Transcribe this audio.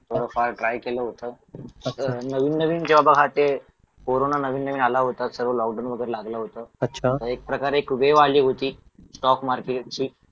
थोडंफार ट्राय केलं होतं कसं नवीन नवीन जेव्हा ते कोरोना नवीन नवीन आला होता सर्व लॉकडाऊन वगैरे लागलं होतं मग एक प्रकारे एक वेव आली होती स्टॉक मार्केट ची